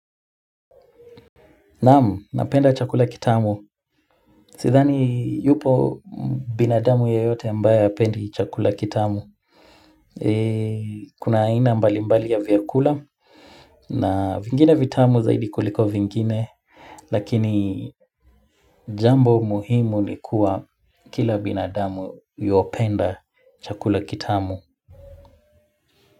Naam, napenda chakula kitamu. Sidhani, yupo binadamu yoyote ambaye hapendi chakula kitamu. Kuna aina mbali mbali ya vyakula. Na vingine vitamu zaidi kuliko vingine. Lakini, jambo muhimu ni kuwa kila binadamu yuopenda chakula kitamu.